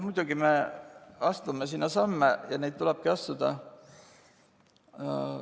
Muidugi me astume samme ja neid tulebki astuda.